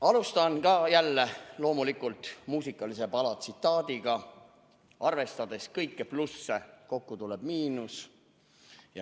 Alustan jälle loomulikult muusikalise pala tsitaadiga: "Arvestades kõiki plusse, kokku tuleb miinus.